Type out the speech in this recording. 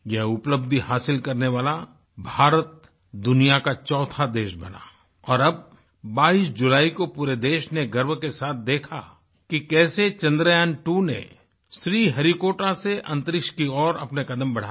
यह उपलब्धि हासिल करने वाला भारत दुनिया का चौथा देश बना और अब 22 जुलाई को पूरे देश ने गर्व के साथ देखा कि कैसे चन्द्रयांत्वो ने श्रीहरिकोटा से अंतरिक्ष की ओर अपने कदम बढ़ाए